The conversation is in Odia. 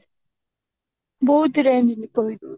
ବହୁତ range